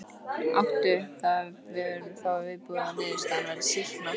Áttu, er þá viðbúið að niðurstaðan verði sýkna?